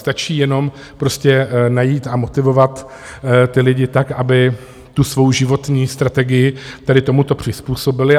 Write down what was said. Stačí jenom prostě najít a motivovat ty lidi tak, aby tu svou životní strategii tedy tomuto přizpůsobili.